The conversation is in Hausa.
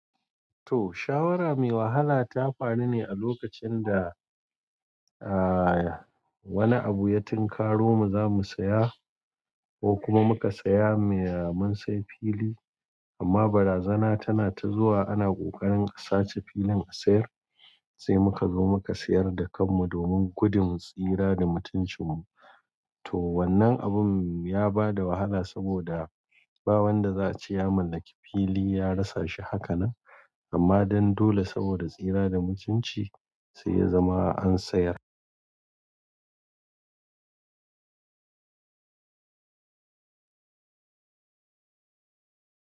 To shawara mai wahala ta faru ne a lokacin da wani abu ya tinkaro mu za mu saya ko kuma muka saya mai mun sai fili amma barazana tana ta zuwa ana ƙoƙarin a sace filin a sayar sai muka zo muka sayar da kan mu domin gudun tsira da mutuncin mu. To wannan abun ya bada wahala saboda ba wanda za'a ce ya mallaki fili ya rasa shi hakanan amma dan dole saboda tsira da mutunci sai ya zama an sayar.